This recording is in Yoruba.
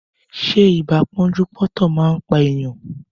Ṣé ibà pọ́njú-pọ́ntọ̀ man pa èèyàn